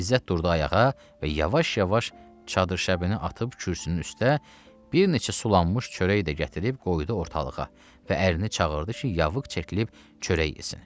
İzzət durdu ayağa və yavaş-yavaş çadırşəbini atıb kürsünün üstə, bir neçə sulanmış çörək də gətirib qoydu ortalığa və ərini çağırdı ki, yavıq çəkilib çörək yesin.